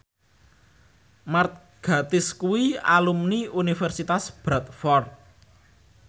Mark Gatiss kuwi alumni Universitas Bradford